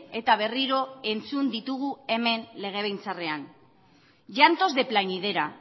eta berriro entzun ditugu hemen legebiltzarrean llantos de plañidera